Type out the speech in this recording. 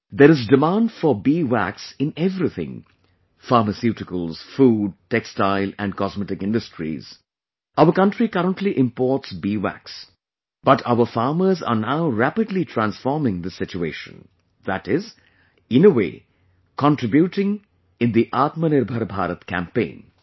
There is demand for bee wax in everything...pharmaceutical, food, textile and cosmetic industries Our country currently imports bee wax, but, our farmers are now rapidly transforming this situation...that is, in a way contributing in the 'Atmanirbhar Bharat' campaign